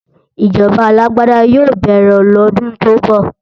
Ìjọba alágbáda yóò bẹ̀rẹ̀ lọ́dún tó ń bọ̀